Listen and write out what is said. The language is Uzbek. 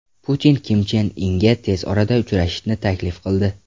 Putin Kim Chen Inga tez orada uchrashishni taklif qildi.